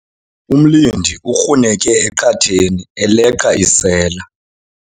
Umlindi ukruneke eqatheni eleqa isela.